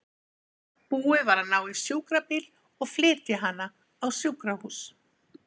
Búið var að ná í sjúkrabíl og flytja hana á sjúkrahús.